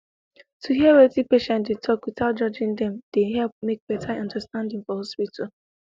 to hear wetin patient dey talk without judging dem dey help make better understanding for hospital